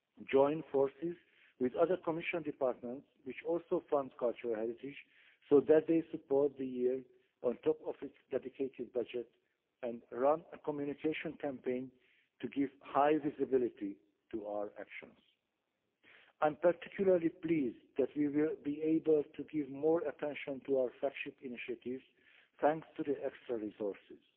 join forces with other Commission departments which also fund cultural heritage, so that they support the year on top of its dedicated budget and run a communication campaign to give high visibility to our actions. I am particularly pleased that we will be able to give more attention to our flagship initiatives thanks to the extra resources.